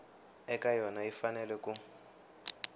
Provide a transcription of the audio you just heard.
eka yona yi fanele ku